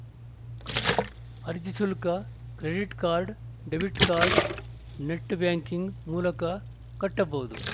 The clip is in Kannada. ಅರ್ಜಿ ಶುಲ್ಕ ಕ್ರೆಡಿಟ್‌ಕಾರ್ಡ್‌ ಡೆಬಿಟ್‌ಕಾರ್ಡ್‌ ನೆಟ್‌ ಬ್ಯಾಂಕಿಂಗ್‌ ಮೂಲಕ ಕಟ್ಟಬಹುದು